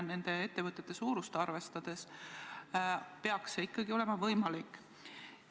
Nende ettevõtete suurust arvestades peaks see ikkagi võimalik olema.